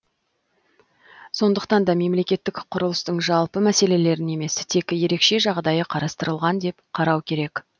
сондықтан да мемлекеттік құрылыстың жалпы мәселелерін емес тек ерекше жағдайы қарастырылған деп қарау керек